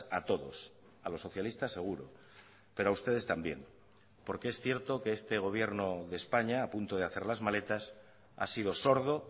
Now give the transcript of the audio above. a todos a los socialistas seguro pero a ustedes también porque es cierto que este gobierno de españa a punto de hacer las maletas ha sido sordo